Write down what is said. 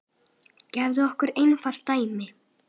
Gefum okkur einfalt dæmi.